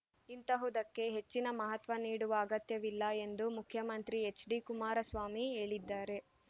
ಇಂತಹುದಕ್ಕೆ ಹೆಚ್ಚಿನ ಮಹತ್ವ ನೀಡುವ ಅಗತ್ಯವಿಲ್ಲ ಎಂದು ಮುಖ್ಯಮಂತ್ರಿ ಹೆಚ್ಡಿ ಕುಮಾರಸ್ವಾಮಿ ಹೇಳಿದ್ದಾರೆ